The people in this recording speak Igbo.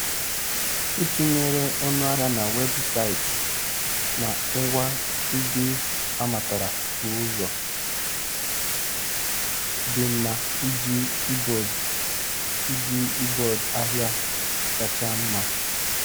Ịtụnyere ọnụ ahịa na webụsaịtị na ngwa ndị amatara bụ ụzọ dị mma iji ibod iji ibod ahịa kacha mma.